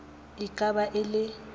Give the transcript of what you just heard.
e ka ba e le